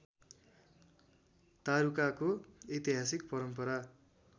तारुकाको ऐतिहासिक परम्परा